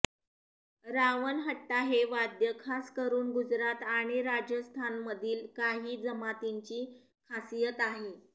रावणहट्टा हे वाद्य खासकरून गुजरात आणि राजस्थानमधील काही जमातींची खासियत आहे